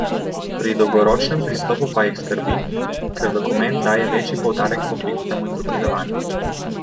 Pri dolgoročnem pristopu pa jih skrbi, ker dokument daje večji poudarek poklicnemu izobraževanju.